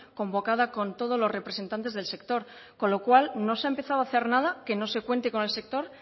convocada con todos los representantes del sector con lo cual no se ha empezado a hacer nada que no se cuente con el sector